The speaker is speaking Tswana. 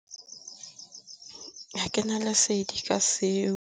A ke na lesedi ka seo.